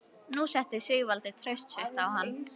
Nú setti Sigvaldi traust sitt á hann.